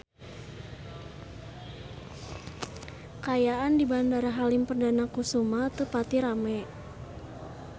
Kaayaan di Bandara Halim Perdana Kusuma teu pati rame